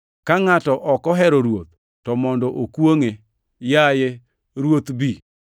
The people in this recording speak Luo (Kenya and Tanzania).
Ka ngʼato ok ohero Ruoth, to mondo okwongʼe! Yaye Ruoth, bi.